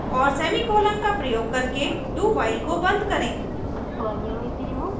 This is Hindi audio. और semicolon का प्रयोग करके dowhile को बंद करें